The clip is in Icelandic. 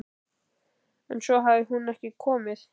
En svo hafði hún ekki komið.